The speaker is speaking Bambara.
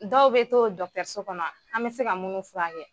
Dɔw bɛ to kɔnɔ an bɛ se ka munnu fura kɛ.